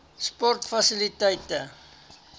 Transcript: sportfasiliteite